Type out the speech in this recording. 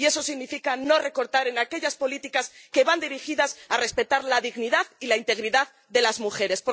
Y eso significa no recortar en aquellas políticas que van dirigidas a respetar la dignidad y la integridad de las mujeres.